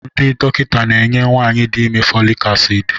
ndị dọkịta na-enye nwanyị dị ime folic acid